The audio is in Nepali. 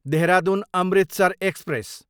देहरादुन, अमृतसर एक्सप्रेस